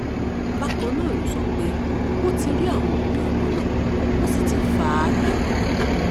bákan náà ló sọ pé wọ́n ti rí àwọn òbí ọmọ náà wọ́n sì ti fà á lé wọn lọ́wọ́